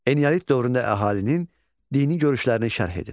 Eneolit dövründə əhalinin dini görüşlərini şərh edin.